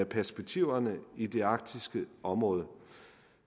perspektiverne i det arktiske område